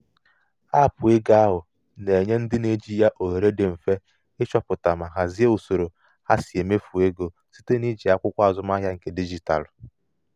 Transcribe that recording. aapụ ego ahụ na-enye ndị na-eji ya ohere dị mfe ịchọpụta ma hazie usoro ha si emefu ego site n'iji akwụkwọ azụmahịa nke dijitalụ.